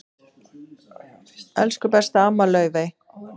Elsku besta amma Laufey.